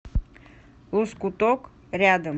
лоскуток рядом